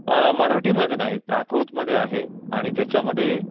मराठीमध्ये नाहीत प्राकृतमध्ये आहेत. आणि त्याच्यामध्ये